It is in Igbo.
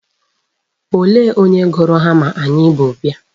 Olee onye gụrụ hama anyị bu bịa.